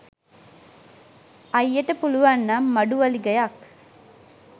අයියට පුලුවන් නම් මඩු වලිගයක්